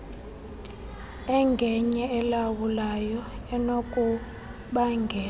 engenye elawulayo enokubangela